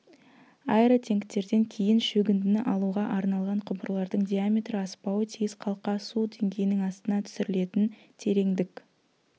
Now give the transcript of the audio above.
аэротенктерден кейін шөгіндіні алуға арналған құбырлардың диаметрі аспауы тиіс қалқа су деңгейінің астына түсірілетін тереңдік